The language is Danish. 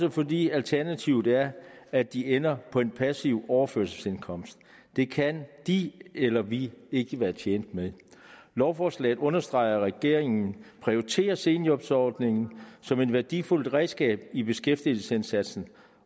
og fordi alternativet er at de ender på en passiv overførselsindkomst det kan de eller vi ikke være tjent med lovforslaget understreger at regeringen prioriterer seniorjobordningen som et værdifuldt redskab i beskæftigelsesindsatsen